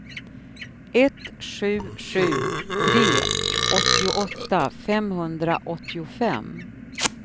ett sju sju tre åttioåtta femhundraåttiofem